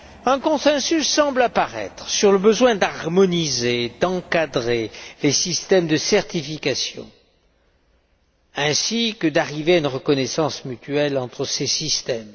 Un consensus semble apparaître sur le besoin d'harmoniser, d'encadrer les systèmes de certification ainsi que d'arriver à une reconnaissance mutuelle entre ces systèmes.